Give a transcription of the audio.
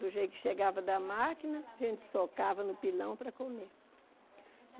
Do jeito que chegava da máquina, a gente socava no pilão para comer.